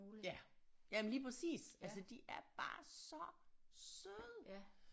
Ja jamen lige præcis altså de er bare så søde